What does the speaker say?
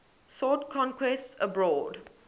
sought conquests abroad